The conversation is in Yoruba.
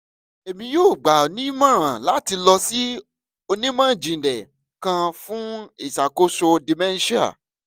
emi yoo gba ọ ni imọran lati lọ si onimọ-jinlẹ kan fun iṣakoso dementia